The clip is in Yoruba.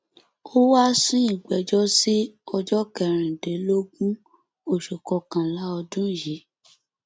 ó wáá sún ìgbẹjọ sí ọjọ kẹrìndínlógún oṣù kọkànlá ọdún yìí